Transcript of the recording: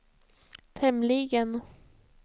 tämligen